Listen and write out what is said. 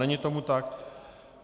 Není tomu tak.